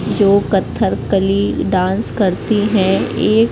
जो कत्थरकली डांस करती है ये--